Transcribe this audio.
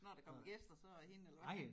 Når der kommer gæster så er det hende eller hvad